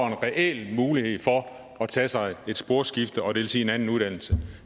en reel mulighed for at tage sig et sporskifte og det vil sige en anden uddannelse